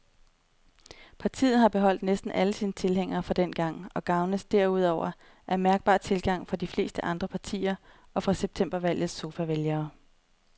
Partiet har beholdt næsten alle sine tilhængere fra dengang og gavnes derudover af mærkbar tilgang fra de fleste andre partier og fra septembervalgets sofavælgere.